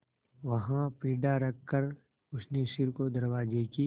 वहाँ पीढ़ा रखकर उसने सिर को दरवाजे की